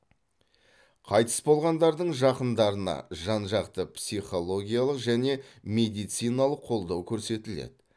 қайтыс болғандардың жақындарына жан жақты психологиялық және медициналық қолдау көрсетіледі